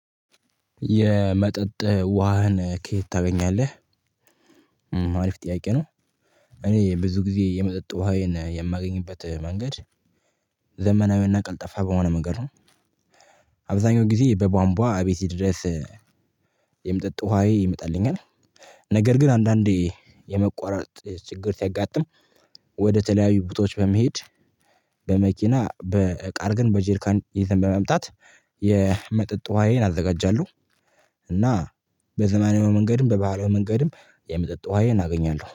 የመጠጥ ውሃን ከየት ታገኛለህ? አሪፍ ጥያቄ ነው። እኔ ብዙ ጊዜ የመጠጥ ውሃዬን የማገኝበት መንገድ ዘመናዊና ቀልጣፋ በሆነ መንገድ ነው። አብዛኛውን ጊዜ በቧንቧ አቤቴ ድረስ የመጠጥ ውሃዬ ይመጣልኛል። ነገር ግን አንዳንዴ የመቆራረጥ ችግር ሲያጋጥሞ ወደ ተለያዩ ቦታዎች በመሄድ። በቃል ግን በጅርካን ይዘን በመምጣት የመጠጥ ውሃዬን አዘጋጃለሁ። እና በዘመናዊው መንገድም በባህላዊ መንገድም የመጠጥ ውሃዬን አገኛለሁ